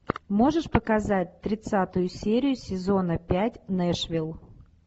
можешь показать тридцатую серию сезона пять нэшвилл